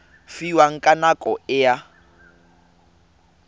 fiwang ka nako e a